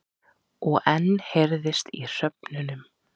Og enn heyrðist í hröfnunum.